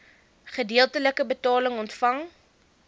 gedeeltelike betaling ontvang